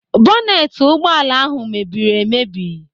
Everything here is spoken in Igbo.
Bọneti ụgbọala ahụ mebiri emebi.